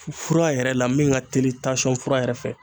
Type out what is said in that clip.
Fura yɛrɛ la min ka teli tansɔn fura yɛrɛ fɛ